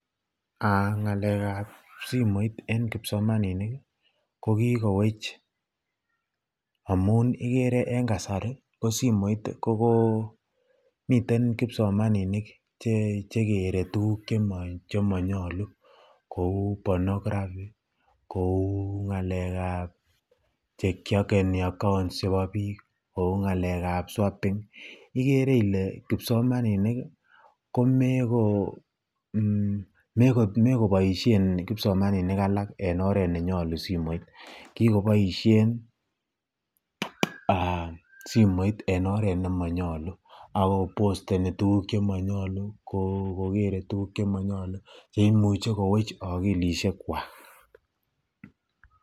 Ng'alekab simoit en kipsomaninik ko kikowech amun ikere en kasari ko simoit komiten kipsomaninik chekere tukuk chemonyolu kouu pornography kouu ng'alekab che kiokeni accounts chebo biik, kouu ng'alekab, ikere ilee kipsomaninik ko nekiboishen kipsomaninik alak en oreet nenyolu simoit kikoboishen simoit en oret nemonyolu ak kobosteni tukuk chemonyolu, kokere tukuk chemonyolu cheimuche kowech okilishekwak.